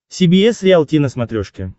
си би эс риалти на смотрешке